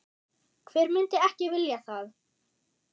Hver myndi ekki vilja það?